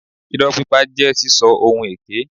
Ìrọ́ pípa jẹ́ sísọ ohun èké.